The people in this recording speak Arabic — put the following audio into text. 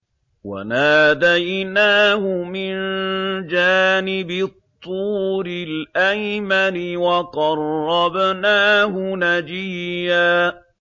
وَنَادَيْنَاهُ مِن جَانِبِ الطُّورِ الْأَيْمَنِ وَقَرَّبْنَاهُ نَجِيًّا